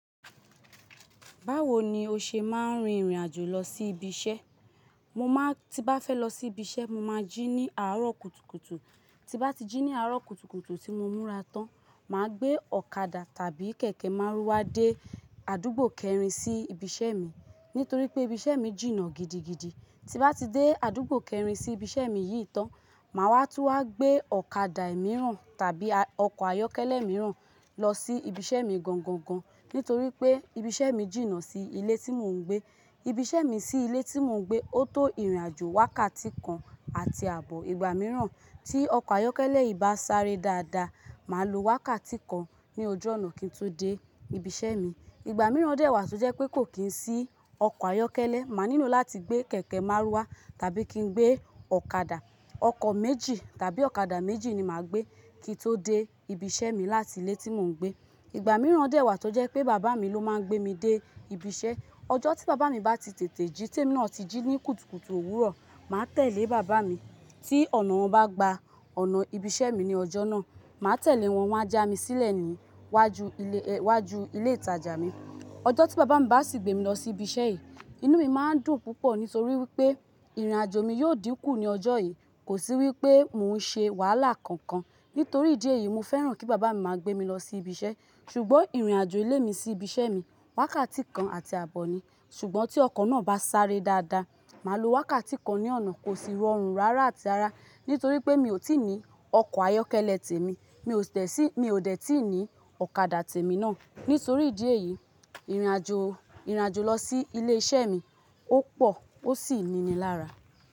Báwo ni o ṣe máa ń rin ìrìn àjò lọ sí ibi iṣẹ́? Mo máa tí bá fẹ́ lọ sí ibi iṣẹ́, mo máa jí ní àárọ̀ kùtùkùtù. Tí bá ti jí ní àárọ̀ kùtùkùtù tí mo múra tán, mà á gbé ọ̀kadà tàbí kẹ̀kẹ́ márúwá dé àdúgbò kẹrin sí ibi iṣẹ́ mi. Nítorí pé ibi iṣẹ́ mi jìnnà gidigidi. Tí bá ti dé àdúgbò kẹrin sí ibi iṣẹ́ mi yìí tán, mà wá tu wá gbé ọ̀kadà mìíràn tàbí ọkọ̀ ayọ́kẹ́lẹ́ mìíràn lọ sí ibi iṣẹ́ mi gangan. Nítorí pé ibi iṣẹ́ mi jìnnà sí ilé tí mò ń gbé. Ibi iṣẹ́ mi sí ilé tí mò ń gbé, ó tó ìrìnàjò wákàtí kan àti àbọ̀. Ìgbà mìíràn tí ọkọ̀ ayọ́kẹ́lẹ́ yìí bá sáré dáadáa, mà á lo wákàtí kan ní ojú ọ̀nà kí n tó dé ibi iṣẹ́ mi. Ìgbà mìíràn dẹ́wàá tọ jẹ́ pé kò kí ń sí ọkọ̀ ayọ́kẹ́lẹ́, mà á nílò láti gbé kẹ̀kẹ́ márúwá tàbí kí n gbé ọ̀kadà. Ọkọ̀ méjì tàbí ọ̀kadà méjì ni mà á gbé kí n tó dé ibi iṣẹ́ mi láti ilé tí mò ń gbé. Ìgbà mìíràn dẹ́wàá tọ jẹ́ pé bàbá mi ló máa ń gbé mi dé ibi iṣẹ́. Ọjọ́ tí bàbá mi bá ti tètè jí temí náà ti jí ní kùtùkùtù òwúrọ̀, mà á tẹ̀lé bàbá mi. Tí ọ̀nà wọn bá gba ọ̀nà ibi iṣẹ́ mi ní ọjọ́ náà, mà á tẹ̀lé wọn wá já mi sílẹ̀ níwájú ilé, wájú ilé ìtajà mi. Ọjọ́ tí bàbá mi bá sì gbé mi lọ sí ibi iṣẹ́ yìí, inú mi máa ń dùn púpọ̀ nítorí wípé ìrìnàjò mi yóò dín kù ní ọjọ́ yìí. Kò sí wípé mò ń ṣe wàhálà kankan. Nítorí ìdí èyí, mo fẹ́ràn kí bàbá mi máa gbé mi lọ sí ibi iṣẹ́. Ṣùgbọ́n ìrìnàjò ilé mi sí ibi iṣẹ́ mi wákàtí kan àti àbọ̀ ni. Ṣùgbọ́n tí ọkọ̀ náà bá sáré dáadáa, mà á lo wákàtí kan ní ọ̀nà, kò sì rọrùn rárá àti ara. Nítorí pé mi ò tí ì ní ọkọ̀ ayọ́kẹ́lẹ́ tèmi, mi ò tẹ̀ sí, mi ò dẹ̀ tí ì ní ọ̀kadà tèmi náà. Nítorí ìdí èyí, ìrìnàjò, ìrìnàjò lọ sí ilé iṣẹ́ mi ó pọ̀ ó sì ni ni lára.